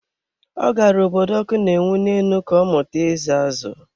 Ọ gara obodo ọkụ na-enwu ne enu ka ọmụta ịza azụ̀.